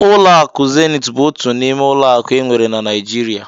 Ụlọ akụ Zenit bụ otu n'ime ụlọ akụ enwere na Naijiria.